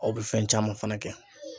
Aw bɛ fɛn caman fana kɛ.